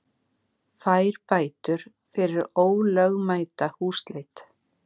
Fær bætur fyrir ólögmæta húsleit